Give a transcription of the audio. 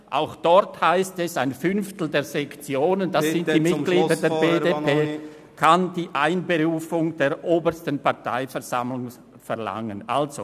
Auch dort heisst es, dass ein Fünftel der Sektionen – das sind die Mitglieder der BDP – die Einberufung der obersten Parteiversammlung verlangen kann.